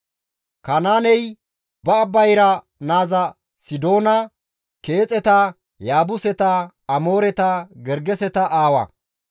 Kanaaney ba bayra naaza Sidoona, Keexeta, Yaabuseta, Amooreta, Gergeseta aawa;